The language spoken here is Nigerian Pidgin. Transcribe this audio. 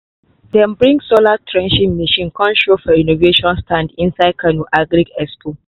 dem bring solar threshing machine come show for innovation stand inside kano agri expo.